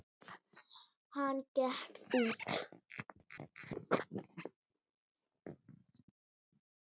Hann gekk út.